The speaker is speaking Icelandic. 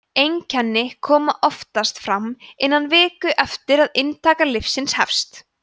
einkenni koma oftast fram innan viku eftir að inntaka lyfsins hefst